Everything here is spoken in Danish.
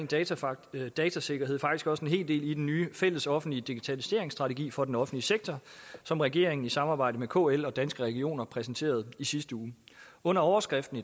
datasikkerhed datasikkerhed faktisk også en hel del i den nye fællesoffentlige digitaliseringsstrategi for den offentlige sektor som regeringen i samarbejde med kl og danske regioner præsenterede i sidste uge under overskriften